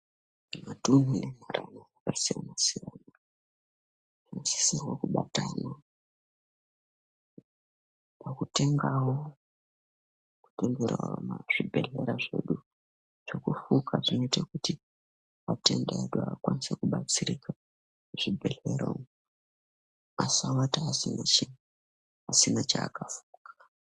Mutuwo ne mutuwo waka siyana siyana tino sisirwa ku batana paku tenga ku tengerawo ma zvibhedhlera zveku fuka zvinoite kuti vatenda edu akasire ku batsirika mu zvibhedhlera umu asa vata asina chaka fuka.